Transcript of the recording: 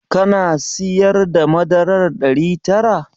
Kana siyar da madarar ɗari tara?